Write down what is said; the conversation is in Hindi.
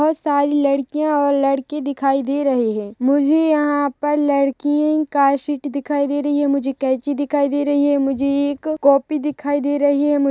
--बहुत सारी लड़कियां और लड़के दिखाई दे रहे हैं मुझे यहाँ लड़की का शीट दिखाई दे रहा है मुझे कैंची दिखाई दे रही है मुझे एक कॉपी दिखाई दे रही है।